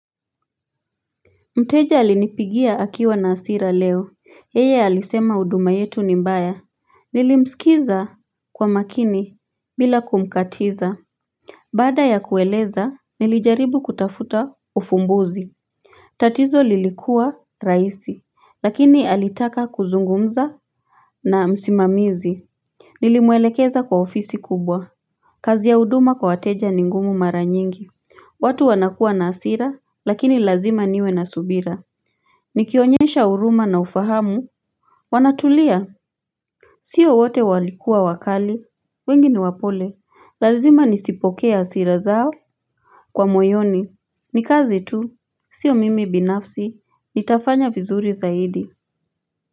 Mteja alinipigia akiwa na asira leo yeye alisema uduma yetu ni mbaya Nilimsikiza kwa makini bila kumkatiza Bada ya kueleza nilijaribu kutafuta ufumbuzi tatizo lilikuwa raisi lakini alitaka kuzungumza na msimamizi Nilimwelekeza kwa ofisi kubwa kazi ya uduma kwa wateja ni ngumu mara nyingi watu wanakua na asira lakini lazima niwe na subira Nikionyesha uruma na ufahamu Wanatulia Sio wote walikua wakali wengi ni wapole lazima nisipokea asira zao Kwa moyoni Nikazi tu Sio mimi binafsi Nitafanya vizuri zaidi.